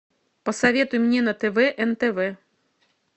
посоветуй мне на тв нтв